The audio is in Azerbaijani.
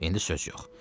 İndi söz yox.